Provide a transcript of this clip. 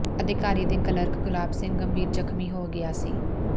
ਅਧਿਕਾਰੀ ਦੇ ਕਲਰਕ ਗੁਲਾਬ ਸਿੰਘ ਗੰਭੀਰ ਜ਼ਖ਼ਮੀ ਹੋ ਗਿਆ ਸੀ